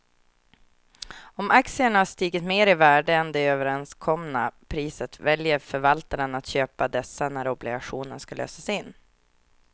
Om aktierna har stigit mer i värde än det överenskomna priset väljer förvaltaren att köpa dessa när obligationen ska lösas in.